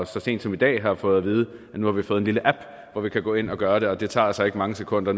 så sent som i dag har vi fået at vide at nu har vi fået en lille app hvor vi kan gå ind og gøre det og det tager altså ikke mange sekunder